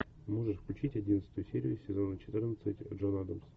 можешь включить одиннадцатую серию сезона четырнадцать джон адамс